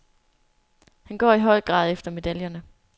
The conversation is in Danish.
Han går i høj grad efter medaljerne.